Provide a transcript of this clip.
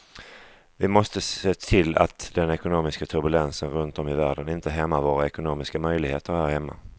Vi måste se till att den ekonomiska turbulensen runt om i världen inte hämmar våra ekonomiska möjligheter här hemma.